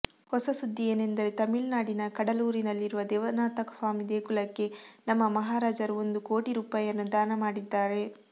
ಹೊಸ ಸುದ್ದಿ ಏನೆಂದರೆ ತಮಿಳುನಾಡಿನ ಕಡಲೂರಿನಲ್ಲಿರುವ ದೇವನಾಥಸ್ವಾಮಿ ದೇಗುಲಕ್ಕೆ ನಮ್ಮ ಮಹಾರಾಜರು ಒಂದು ಕೋಟಿ ರೂಪಾಯಿಯನ್ನು ದಾನ ಮಾಡಿದ್ದಾರೆ